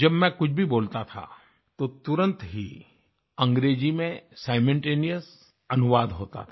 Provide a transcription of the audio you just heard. जब मैं कुछ भी बोलता था तो तुरंत ही अंग्रेजी में सिमल्टेनियस अनुवाद होता था